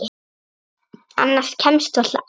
Annað kemst varla að.